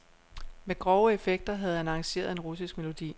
Med grove effekter havde han arrangeret en russisk melodi.